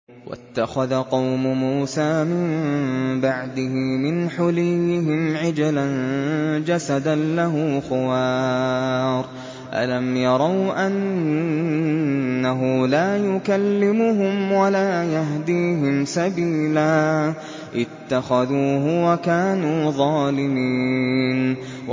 وَاتَّخَذَ قَوْمُ مُوسَىٰ مِن بَعْدِهِ مِنْ حُلِيِّهِمْ عِجْلًا جَسَدًا لَّهُ خُوَارٌ ۚ أَلَمْ يَرَوْا أَنَّهُ لَا يُكَلِّمُهُمْ وَلَا يَهْدِيهِمْ سَبِيلًا ۘ اتَّخَذُوهُ وَكَانُوا ظَالِمِينَ